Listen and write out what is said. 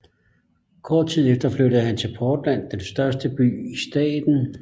Kort tid efter flyttede han til Portland den største by i staten